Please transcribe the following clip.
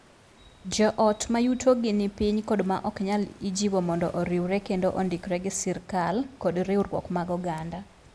Joot ma yutogi ni piny kod ma ok nyal ijiwo mondo oriwre kendo ondikre gi sirkal kod riwruok mag oganda.